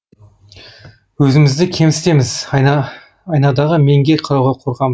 өзімізді кемсітеміз айнадағы менге қарауға қорқамыз